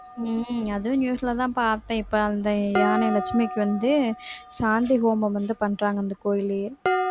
உம் அதுவும் news ல தான் பார்த்தேன் இப்ப அந்த யானை லட்சுமிக்கு வந்து சாந்தி ஹோமம் வந்து பண்றாங்க அந்த கோயிலையே